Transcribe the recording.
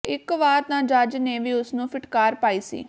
ਇੱਕ ਵਾਰ ਤਾਂ ਜੱਜ ਨੇ ਵੀ ਉਸਨੂੰ ਫਿਟਕਾਰ ਪਾਈ ਸੀ